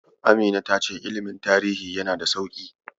Amina ta ce ilimin tarihi yana da sauƙi.